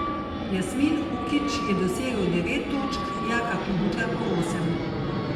Jasmin Hukić je dosegel devet točk, Jaka Klobučar pa osem.